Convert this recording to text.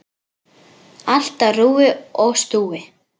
Allt á rúi og stúi.